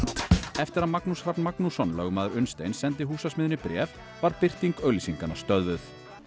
eftir að Magnús Hrafn Magnússon lögmaður Unnsteins sendi Húsasmiðjunni bréf var birting auglýsinganna stöðvuð